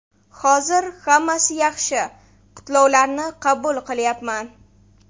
Hozir hammasi yaxshi, qutlovlarni qabul qilyapman.